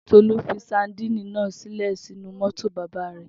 Tolú fi sadínì náà sílẹ̀ sínú mótò bàbá rẹ̀.